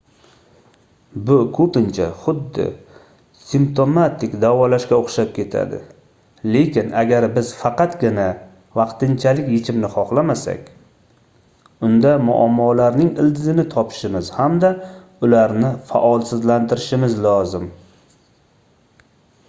bu koʻpincha xuddi simptomatik davolashga oʻxshab ketadi lekin agar biz faqatgina vaqtinchalik yechimni xohlamasak unda muammolarning ildizini topishimiz hamda ularni faolsizlantirishimiz lozim